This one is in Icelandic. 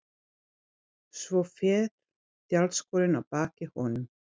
Svo féll tjaldskörin að baki honum.